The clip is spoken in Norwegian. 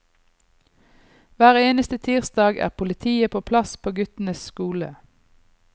Hver eneste tirsdag er politiet på plass på guttenes skole.